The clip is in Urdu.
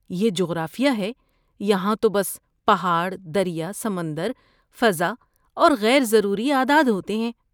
یہ جغرافیہ ہے! یہاں تو بس پہاڑ، دریا، سمندر، فضا اور غیر ضروری اعداد ہوتے ہیں۔